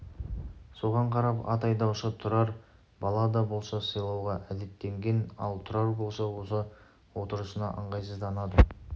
соған қарап ат айдаушы тұрарды бала да болса сыйлауға әдеттенген ал тұрар болса осы отырысына ыңғайсызданады